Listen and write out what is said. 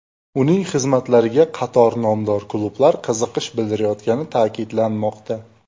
Uning xizmatlariga qator nomdor klublar qiziqish bildirayotgani ta’kidlanmoqda.